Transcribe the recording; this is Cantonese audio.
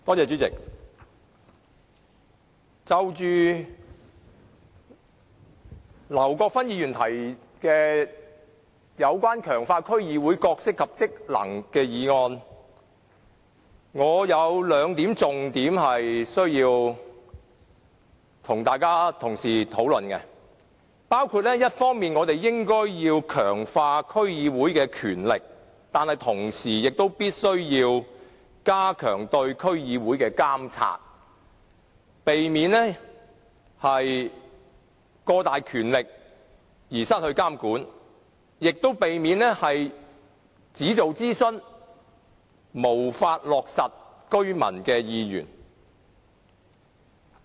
主席，就着劉國勳議員提出"強化區議會的角色及職能"的議案，我有兩個重點需要與各位同事討論，包括我們一方面應該強化區議會的權力，但同時必須加強對區議會的監察，以免它擁有過大權力而不受監管，亦避免它只進行諮詢，而無法落實居民的意願。